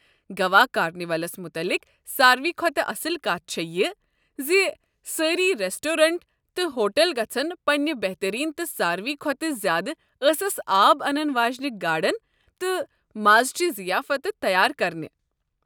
Goa carnivals متعلِق سارِوٕے کھۄتہٕ اصٕل کتھ چھےٚ یہِ زِ سٲری ریٚسٹورینٹ تہٕ ہوٹل گژھن پنٕنہِ بہتریٖن تہٕ ساروٕی کھۄتہٕ زیادٕ ٲسس آب انن واجنہ گاڈن تہٕ مازٕچہِ ضیافتہٕ تیار کرٕنہِ۔